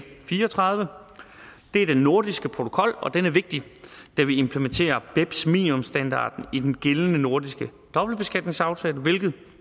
fire og tredive det er den nordiske protokol og den er vigtig da vi implementerer beps minimumsstandarden i den gældende nordiske dobbeltbeskatningsaftale hvilket